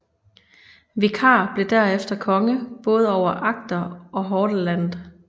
Vikar blev derefter konge både over Agder og Hordaland